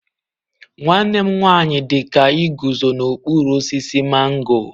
Nwanne m nwanyi dika iguzo n'okpuru osisi mango.